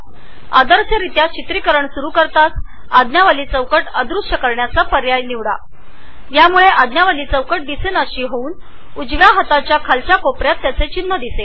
आदर्शरित्या रेकॉर्डींगपूर्वी ऑप्शन्समध्ये minimize program on start recording तपासून बघा जेणेकरुन कॅमस्टुडिओ मीनीमाईज होऊन पडद्याच्या उजव्या बाजूच्या खालच्या तळाला त्याचे चिन्ह दिसेल